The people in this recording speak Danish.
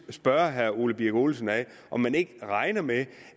at spørge herre ole birk olesen om han ikke regner med